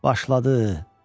Başladı.